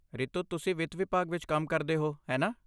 ਰਿਤੂ, ਤੁਸੀਂ ਵਿੱਤ ਵਿਭਾਗ ਵਿੱਚ ਕੰਮ ਕਰਦੇ ਹੋ, ਹੈ ਨਾ?